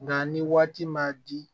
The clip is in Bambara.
Nka ni waati ma di